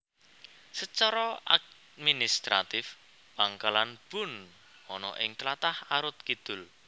Sacara administratif Pangkalan Bun ana ing tlatah Arut Kidul